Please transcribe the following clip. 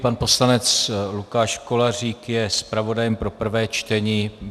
Pan poslanec Lukáš Kolářík je zpravodajem pro prvé čtení.